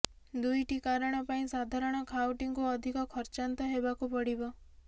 ଦୁଇଟି କାରଣ ପାଇଁ ସାଧାରଣ ଖାଉଟିଙ୍କୁ ଅଧିକ ଖର୍ଚ୍ଚାନ୍ତ ହେବାକୁ ପଡ଼ିବ